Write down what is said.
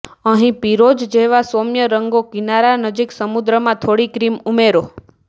અહીં પીરોજ જેવા સૌમ્ય રંગો કિનારા નજીક સમુદ્રમાં થોડી ક્રીમ ઉમેરો